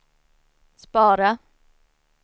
spara